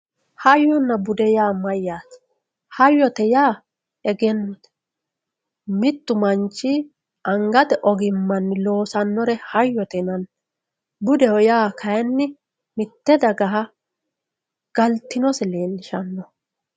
hayyonna bude yaa mayyate hayyote yaa egennote mittu manchi angate ogimmanni loosannore hayyote yinanni budeho yaa kaynni mitte dagaha galtinose leellishshano